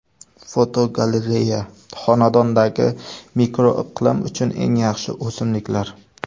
Fotogalereya: Xonadondagi mikroiqlim uchun eng yaxshi o‘simliklar.